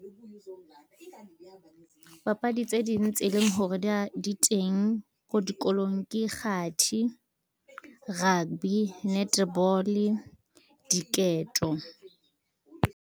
Papadi tse ding tse leng hore di teng ko dikolong ke kgathi, rugby, netball-e, diketo.